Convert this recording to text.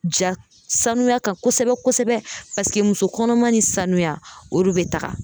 Ja sanuya kan kosɛbɛ kosɛbɛ paseke muso kɔnɔma ni sanuya o de be taga